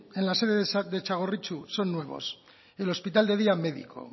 en la sede de txagorritxu son nuevos el hospital de día médico